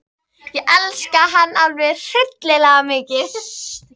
Ég elska hann alveg hryllilega mikið.